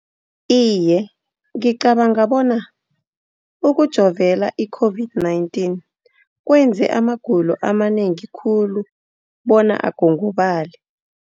Iye, ngicabanga bona ukujovela i-COVID-19 kwenze amagulo amanengi khulu bona agongobale.